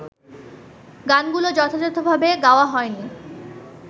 গানগুলো যথাযথভাবে গাওয়া হয়নি